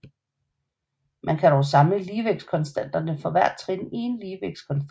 Man kan dog samle ligevægtskonstanterne for hvert trin i én ligevægtskonstant